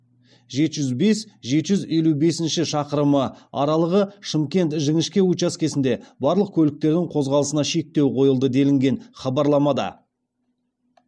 жеті жүз бес жеті жүз елу бесінші шақырымы аралығы шымкент жіңішке учаскесінде барлық көліктердің қозғалысына шектеу қойылды делінген хабарламада